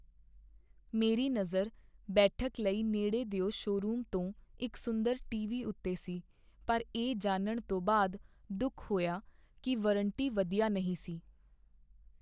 ਮੇਰੀ ਨਜ਼ਰ ਬੈਠਕ ਲਈ ਨੇੜੇ ਦਿਓ ਸ਼ੋਅਰੂਮ ਤੋਂ ਇੱਕ ਸੁੰਦਰ ਟੀ.ਵੀ. ਉੱਤੇ ਸੀ ਪਰ ਇਹ ਜਾਣਨ ਤੋਂ ਬਾਅਦ ਦੁੱਖ ਹੋਇਆ ਕੀ ਵਾਰੰਟੀ ਵਧੀਆ ਨਹੀਂ ਸੀ।